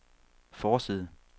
forside